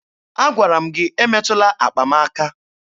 Agwara m gị emetụla akpa m aka!